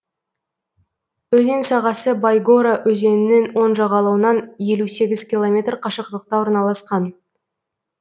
өзен сағасы байгора өзенінің оң жағалауынан елу сегіз километр қашықтықта орналасқан